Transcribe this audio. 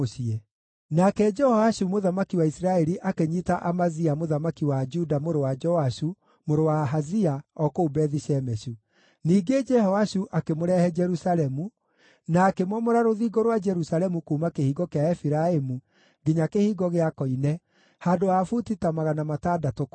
Nake Jehoashu mũthamaki wa Isiraeli akĩnyiita Amazia mũthamaki wa Juda, mũrũ wa Joashu, mũrũ wa Ahazia, o kũu Bethi-Shemeshu. Ningĩ Jehoashu akĩmũrehe Jerusalemu, na akĩmomora rũthingo rwa Jerusalemu kuuma Kĩhingo kĩa Efiraimu nginya Kĩhingo gĩa Koine, handũ ha buti ta 600 kũraiha.